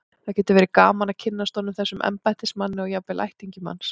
Það gæti verið gaman að kynnast honum, þessum embættismanni, og jafnvel ættingjum hans.